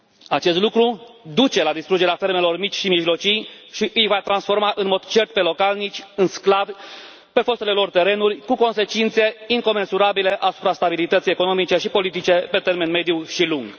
Acest lucru duce la distrugerea fermelor mici și mijlocii și îi va transforma în mod cert pe localnici în sclavi pe fostele lor terenuri, cu consecințe incomensurabile asupra stabilității economice și politice pe termen mediu și lung.